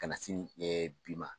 Ka na sini bi ma.